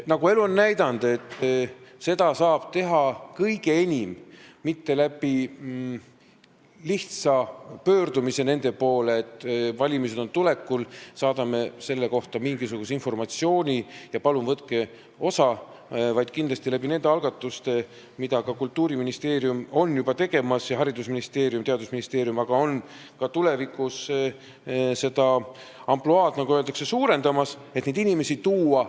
Nagu elu on näidanud, seda ei saa kõige paremini teha mitte lihtsa pöördumisega nende poole, et valimised on tulekul, saadame selle kohta informatsiooni ja palun võtke osa, vaid seda saab teha kindlasti nende algatuste abil, mida ka Kultuuriministeerium ning Haridus- ja Teadusministeerium on juba tegemas, nad ka tulevikus seda ampluaad, nagu öeldakse, laiendavad, et neid inimesi tagasi tuua.